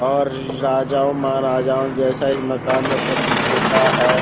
और राजा महाराजाओं जैसा इस मकान में प्रतीत होता है।